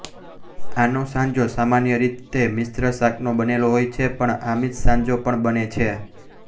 આનો સાંજો સામાન્ય રીતે મિશ્ર શાકનો બનેલો હોય છે પણ આમીષ સાંજો પણ બને છે